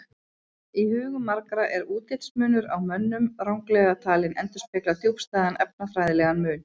Í hugum margra er útlitsmunur á mönnum ranglega talinn endurspegla djúpstæðan erfðafræðilegan mun.